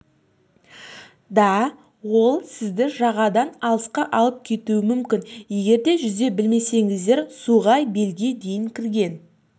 да ол сізді жағадан алысқа алып кетуі мүмкін егерде жүзу білмесеңіздер суға белге дейін кірген